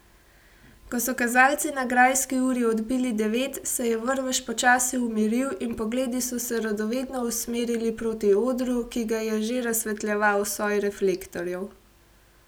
Ko so kazalci na grajski uri odbili devet, se je vrvež počasi umiril in pogledi so se radovedno usmerili proti odru, ki ga je že razsvetljeval soj reflektorjev.